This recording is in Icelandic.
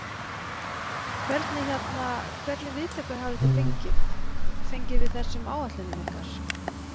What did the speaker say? Hvernig hérna, hvernig viðtökur hafi þið fengið, fengið við þessum áætlunum ykkar?